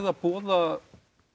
að boða